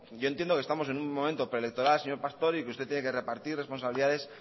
yo entiendo que estamos en un momento preelectoral señor pastor y que usted tiene que repartir responsabilidades